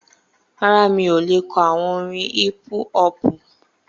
Rárá, mi ò le kọ àwọn orin hípú-họpù